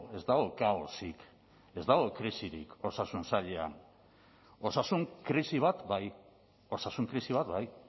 ez dago kaosik ez dago krisirik osasun sailean osasun krisi bat bai osasun krisi bat bai